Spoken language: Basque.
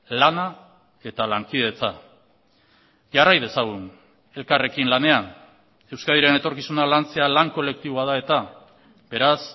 lana eta lankidetza jarrai dezagun elkarrekin lanean euskadiren etorkizuna lantzea lan kolektiboa da eta beraz